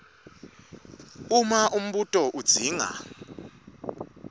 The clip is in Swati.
uma umbuto udzinga